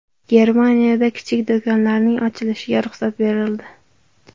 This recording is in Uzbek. Germaniyada kichik do‘konlarning ochilishiga ruxsat berildi.